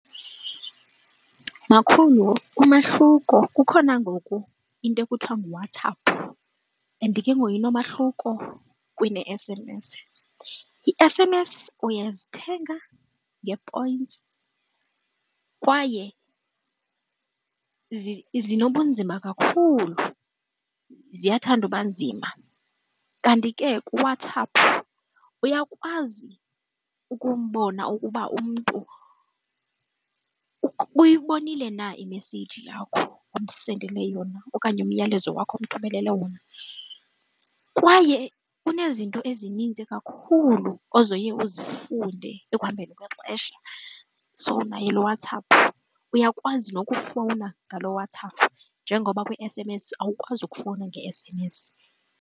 Makhulu, umahluko kukhona ngoku into ekuthiwa nguWhatsApp and ke ngoku inomahluko kune-S_M_S. Ii-S_M_S uyazithenga ngee-points kwaye zinobunzima kakhulu ziyathanda uba nzima kanti ke kuWhatsApp uyakwazi ukubona ukuba umntu uyibonile na imeseyiji yakho omsendele yona okanye umyalezo wakho umthumelele wona. Kwaye kunezinto ezininzi kakhulu ozoye uzifunde ekuhambeni kwexesha. So naye lo WhatsApp uyakwazi nokufowuna ngalo WhatsApp njengoba kwi-S_M_S awukwazi ukufowuna nge-S_M_S.